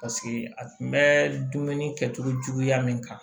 Paseke a tun bɛ dumuni kɛcogo juguya min kan